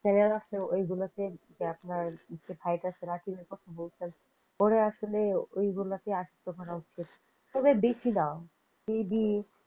ওইগুলো দেখার ভাই রাকিবের কথা বলতাছি ওরে আসলে ওইগুলো কি আশক্ত করা উচিত তবে বেশি না।